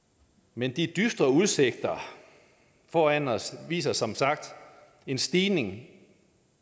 men de dystre udsigter foran os viser som sagt en stigning